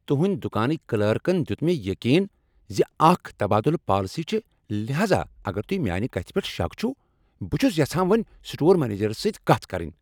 تُہنٛدۍ دکانٕکۍ کلرکن دیت مےٚ یقین ز اکھ تبادلہٕ پالیسی چھ لہذا اگر تۄہہ میانہِ کتھ پؠٹھ شک چھوٕ، بہٕ چھس یژھان وٕنی سٹور منیجرس سۭتۍ کتھ کرٕنۍ۔